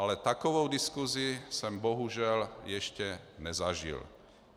Ale takovou diskusi jsem bohužel ještě nezažil.